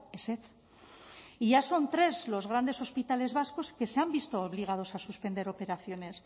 ezetz y ya son tres los grandes hospitales vascos que se han visto obligados a suspender operaciones